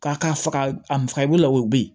K'a ka faga a faga bolo la o bɛ ye